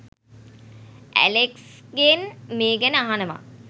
ඇලෙක්ස්ගෙන් මේ ගැන අහනවා.